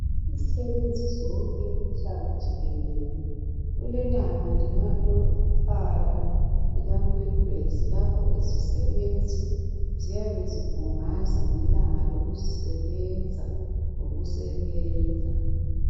Izisebenzi zonke umhlaba jikelele kulelanga lokuqala likaNkwenkwezi lapho izisebenzi ziyabe zibhungaza ngelanga lokuzisebenza lokusebenza.